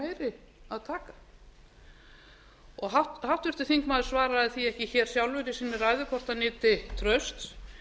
maður að meiri að taka háttvirtur þingmaður sagði því ekki sjálfur í sinni ræðu hvort hann nyti trausts